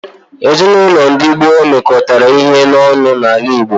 Ezinaụlọ ndi gboo mekọtara ihe ọnụ n'ala Igbo.